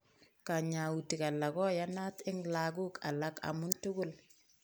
Kanyautik alak koyanat eng lagok alak ama tugul